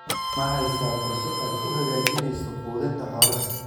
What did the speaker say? Ma haysaa qorshe aad ku hagaajinayso quudinta xoolaha?